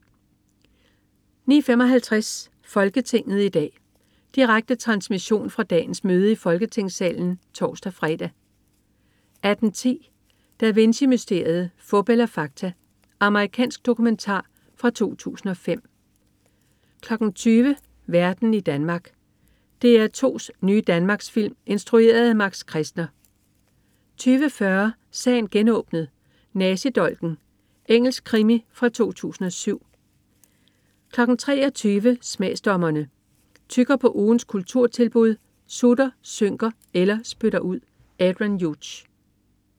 09.55 Folketinget i dag. Direkte transmission fra dagens møde i Folketingssalen (tors-fre) 18.10 Da Vinci mysteriet. Fup eller fakta? Amerikansk dokumentar fra 2005 20.00 Verden i Danmark. DR2's nye danmarksfilm instrueret af Max Kestner 20.40 Sagen genåbnet: Nazidolken. Engelsk krimi fra 2007 23.00 Smagsdommerne. Tygger på ugens kulturtilbud, sutter, synker eller spytter ud. Adrian Hughes